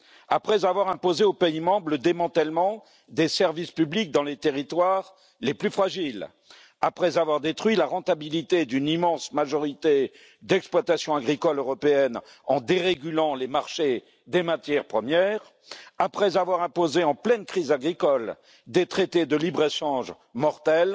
Après avoir imposé aux pays membres le démantèlement des services publics dans les territoires les plus fragiles, après avoir détruit la rentabilité d'une immense majorité d'exploitations agricoles européennes en dérégulant les marchés des matières premières, après avoir imposé en pleine crise agricole des traités de libre échange mortels,